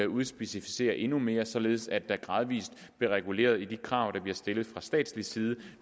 udspecificere endnu mere således at der gradvis bliver reguleret i de krav der bliver stillet fra statslig side